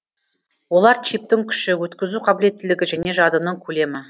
олар чиптің күші өткізу қабілеттілігі және жадының көлемі